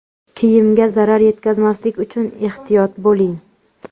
Kiyimga zarar yetkazmaslik uchun ehtiyot bo‘ling.